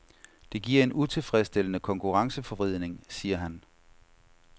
Det giver en utilfredsstillende konkurrenceforvridning, siger han.